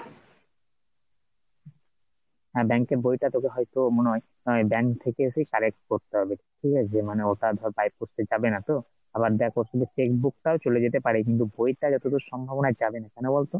হ্যাঁ bank এর বইটা তোকে হয়তো মনে হয় bank থেকে এসেই collect করতে হবে, ঠিক আছে মানে ওটা তোর by post এ যাবে না তো, আবার দেখ ওর সাথে cheque book টাও চলে যেতে পারে কিন্তু বইটা যতদূর সম্ভব মনে হয় যাবেনা কেন বলতো?